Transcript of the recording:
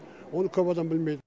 оны көп адам білмейді